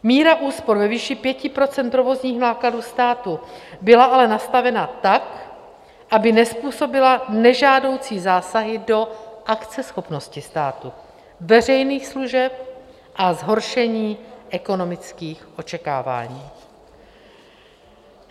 Míra úspor ve výši 5 % provozních nákladů státu byla ale nastavena tak, aby nezpůsobila nežádoucí zásahy do akceschopnosti státu, veřejných služeb a zhoršení ekonomických očekávání.